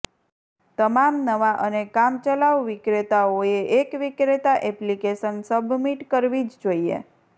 તમામ નવા અને કામચલાઉ વિક્રેતાઓએ એક વિક્રેતા એપ્લિકેશન સબમિટ કરવી જ જોઈએ